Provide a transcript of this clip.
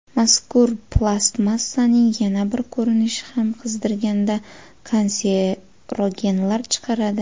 Mazkur plastmassaning yana bir ko‘rinishi ham qizdirganda kanserogenlar chiqaradi.